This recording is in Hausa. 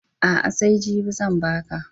A'a, sai jibi zan ba ka.